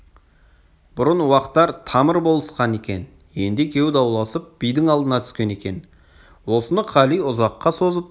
бұрын уақтар тамыр болысқан екен енді екеуі дауласып бидің алдына түскен екен осыны қали ұзаққа созып